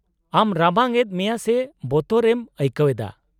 -ᱟᱢ ᱨᱟᱵᱟᱝ ᱮᱫ ᱢᱮᱭᱟ ᱥᱮ ᱵᱚᱛᱚᱨ ᱮᱢ ᱟᱹᱭᱠᱟᱹᱣ ᱮᱫᱟ ?